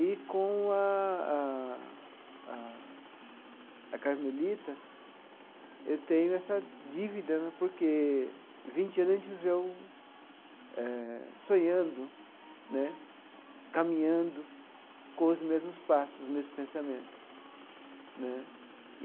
E, com a a a a Carmelita, eu tenho essa dívida né, porque vinte anos a gente viveu eh sonhando né, caminhando com os mesmos passos, os mesmos pensamentos né.